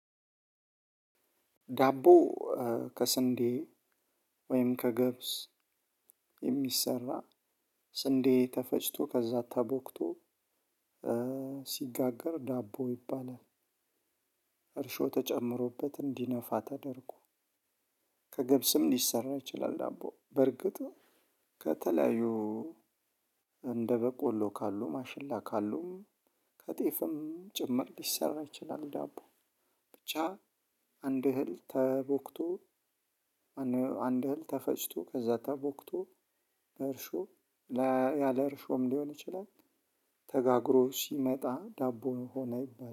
ዳቦ ከስንዴ ወይም ከገብስ የሚሰራ ስንዴ ተፈጭቶ ከዛ ተቦክቶ ሲጋገር ዳቦ ይባላል። እርሾ ተጨምሮበት እንዲነፋ ተደርጎ ከገብስም ሊሰራ ይችላል። ዳቦ በርግጥ ከተለያዩ እንደ በቆሎ ካሉ ማሽላ ካሉ ከጤፍም ጭምር ሊሰራ ይችላል። ዳቦ ብቻ አንድ እህል ተቦክቶ አንድ እህል ተፈጭቶ ከዛ ተቦክቶ እርሾ ያለ እርሾም ሊሆን ይችላል ተጋግሮ ሲመጣ ዳቦ ሆነ ይባላል።